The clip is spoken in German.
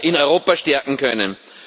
in Europa stärken können.